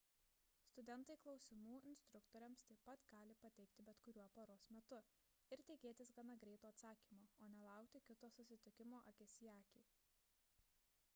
studentai klausimų instruktoriams taip pat gali pateikti bet kuriuo paros metu ir tikėtis gana greito atsakymo o ne laukti kito susitikimo akis į akį